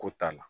Ko t'an na